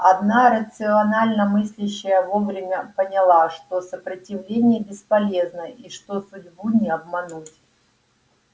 одна рационально мыслящая вовремя поняла что сопротивление бесполезно и что судьбу не обмануть